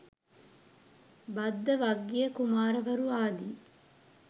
භද්දවග්ගිය කුමාරවරු ආදි